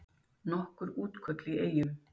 Nokkur útköll í Eyjum